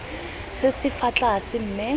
se se fa tlase mme